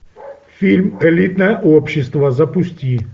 фильм элитное общество запусти